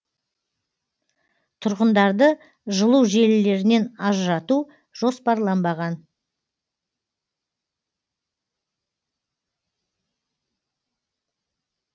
тұрғындарды жылу желілерінен ажырату жоспарланбаған